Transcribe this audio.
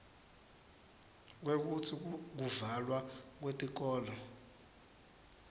kwekutsi kuvalwa kwetikolo